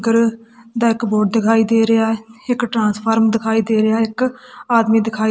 ਕਰ ਦਾ ਇੱਕ ਬੋਰਡ ਦਿਖਾਈ ਦੇ ਰਿਹਾ ਐ ਇੱਕ ਟਰਾਂਸਫਾਰਮ ਦਿਖਾਈ ਦੇ ਰਿਹਾ ਐ ਇੱਕ ਆਦਮੀ ਦਿਖਾਈ--